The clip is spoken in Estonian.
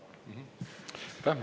Aitäh!